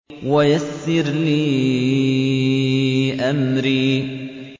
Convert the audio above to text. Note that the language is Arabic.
وَيَسِّرْ لِي أَمْرِي